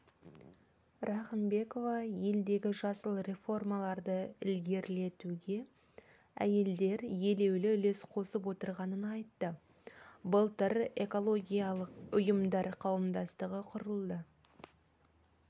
рахымбекова елдегі жасыл реформаларды ілгерілетуге әйелдер елеулі үлес қосып отырғанын айтты былтыр экологиялық ұйымдар қауымдастығы құрылды